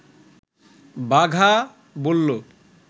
বাঘা বলল